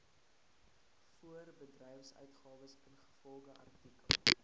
voorbedryfsuitgawes ingevolge artikel